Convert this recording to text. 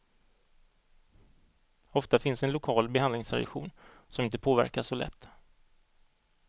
Ofta finns en lokal behandlingstradition som inte påverkas så lätt.